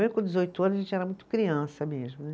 com dezoito anos, a gente era muito criança mesmo, né